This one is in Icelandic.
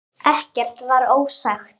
Ekkert var ósagt.